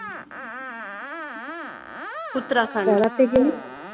uttarakhand